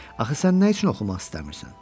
Axı sən nə üçün oxumaq istəmirsən?